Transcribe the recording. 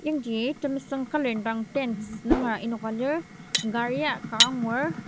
yangji temesüng colour indang tents nunger enoka lir karia ka angur.